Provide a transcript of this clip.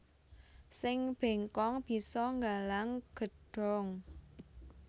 Sing bengkong bisa nggalang gedhong